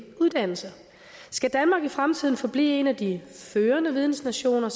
uddannelse skal danmark i fremtiden forblive en af de førende vidensnationer